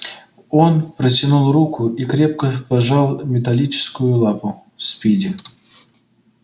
он протянул руку и крепко пожал металлическую лапу спиди